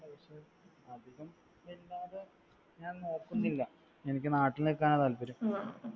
ഞാൻ നോക്കുന്നില്ല. എനിക്ക് നാട്ടിൽ നിക്കാനാ താല്പര്യം.